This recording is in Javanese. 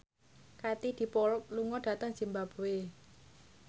Katie Dippold lunga dhateng zimbabwe